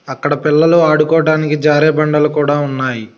అక్కడ పిల్లలు ఆడుకోడానికి జారే బండలు కూడా ఉన్నాయి.